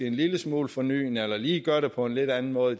en lille smule fornyende eller lige gør det på en lidt anden måde